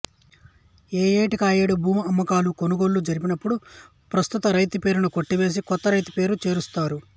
ఏ ఏటికాఏడు భూములు అమ్మకాలు కొనుగోళ్లు జరిపినపుడు ప్రస్తుత రైతు పేరును కొట్టివేసి కొత్త రైతు పేరును చేరుస్తారు